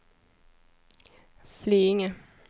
Flyinge